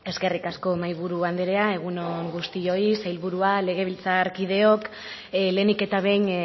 eskerrik asko mahaiburu andrea egun on guztioi sailburua legebiltzarkideok lehenik eta behin